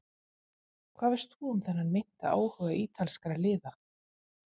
Hvað veist þú um þennan meinta áhuga ítalskra liða?